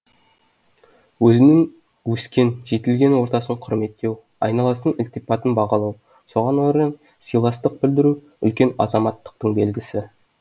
өзінің өскен жетілген ортасын құрметтеу айналасының ілтипатын бағалау соған орай сыйластық білдіру үлкен азаматтықтың белгісі